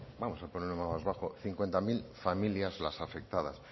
vamos a poner un número más bajo cincuenta y nueve mil familias las afectadas